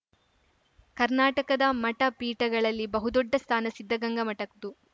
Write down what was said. ಕರ್ನಾಟಕದ ಮಠಪೀಠಗಳಲ್ಲಿ ಬಹುದೊಡ್ಡ ಸ್ಥಾನ ಸಿದ್ದಗಂಗಾ ಮಠದ್ದು